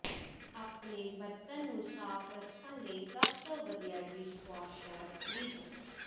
ਆਪਣੇ ਬਰਤਨ ਨੂੰ ਸਾਫ ਰੱਖਣ ਲਈ ਸਭ ਤੋਂ ਵਧੀਆ ਡਿਸ਼ਵਾਸ਼ਰ ਖਰੀਦੋ